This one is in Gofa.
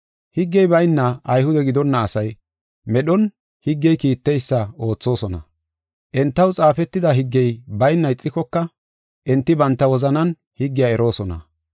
Higgey bayna Ayhude gidonna asay medhon higgey kiitteysa oothosona. Entaw xaafetida higgey bayna ixikoka enti banta wozanan higgiya eroosona.